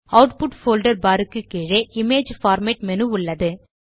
output folder பார் க்கு கீழே இமேஜ் பார்மேட் மேனு உள்ளது